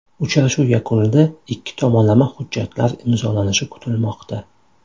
Uchrashuv yakunida ikki tomonlama hujjatlar imzolanishi kutilmoqda.